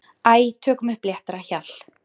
Æ, tökum upp léttara hjal.